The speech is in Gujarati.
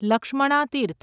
લક્ષ્મણા તીર્થ